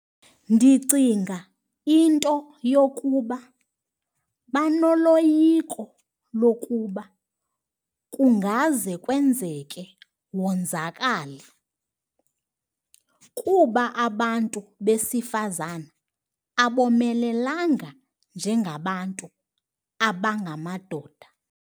Ndicinga into yokuba banoloyiko lokuba kungaze kwenzeke wonzakale kuba abantu besifazane abomelelanga njengabantu abangamadoda.